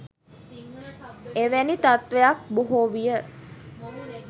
එවැනි තත්ත්වයක් බොහෝ විය